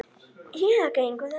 Eða gengur eftir línu.